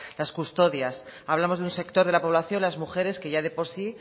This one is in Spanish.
las custodias hablamos de un sector de la población las mujeres que ya de por sí